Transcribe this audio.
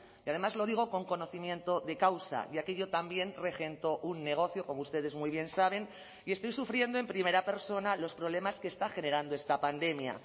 y además lo digo con conocimiento de causa ya que yo también regento un negocio como ustedes muy bien saben y estoy sufriendo en primera persona los problemas que está generando esta pandemia